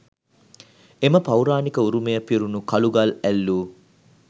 එම පෞරාණික උරුමය පිරුණු කළුගල් ඇල්ලූ